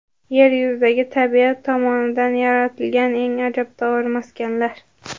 Yer yuzidagi tabiat tomonidan yaratilgan eng ajabtovur maskanlar .